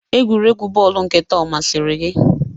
Egwuregwu bọọlụ nke taa ọ masịrị gị?